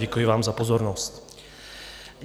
Děkuji vám za pozornost.